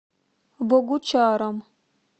богучаром